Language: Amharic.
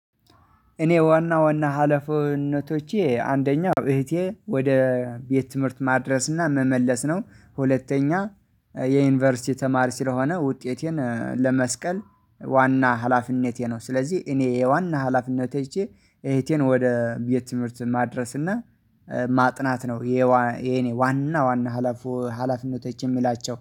እኔ ዋና ዋና ሀለፍነቶቼ አንደኛው እህቴ ወደ ቤት ትምህርት ማድረስና መመለስ ነው። ሁለተኛ የዩኒቨርሲቲ ተማሪ ስለሆነ ውጤቴን ለመስቀል ዋና ሀላፊነቴ ነው ስለዚህ እኔ የዋና ሀላፊነቴቨቼ እህቴን ወደ ቤት ትምህርት ማድረስና ማጥናት ነው። የኔ ዋና ዋና ሀላፊ ሀላፊነቶች የምላቸው